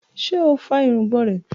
Ṣe o fá irungbọn rẹ?